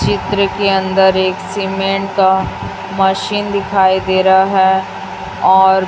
चित्र के अंदर एक सीमेंट का मशीन दिखाई दे रहा है और--